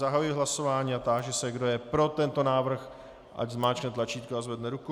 Zahajuji hlasování a táži se, kdo je pro tento návrh, ať zmáčkne tlačítko a zvedne ruku.